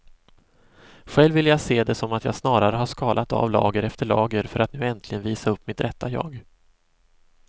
Själv vill jag se det som att jag snarare har skalat av lager efter lager för att nu äntligen visa upp mitt rätta jag.